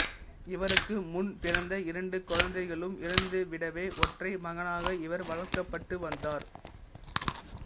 இவருக்கு முன் பிறந்த இரண்டு குழந்தைகளும் இறந்துவிடவே ஒற்றை மகனாக இவர் வளர்க்கப்பட்டு வந்தார்